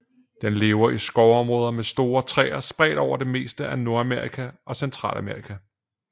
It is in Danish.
Den lever i skovområder med store træer spredt over det meste af Nordamerika og Centralamerika